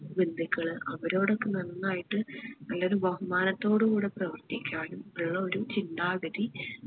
ബന്ധുക്കള് അവരോടൊക്കെ നന്നായിട്ട് നല്ലൊരു ബഹുമാനത്തോടു കൂട പ്രവർത്തിക്കാനും ഇള്ള ഒരു ചിന്താഗതി